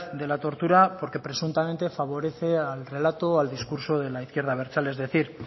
de la tortura porque presuntamente favorece al relato o al discurso de la izquierda abertzale es decir